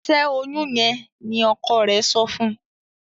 Ṣe oyún yén ní ọkọ rẹ sọfún